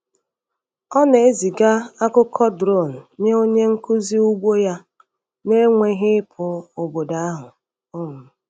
Ọ na-eziga akụkọ drone nye onye nkuzi ugbo ya na-enweghị ịpụ obodo ahụ. um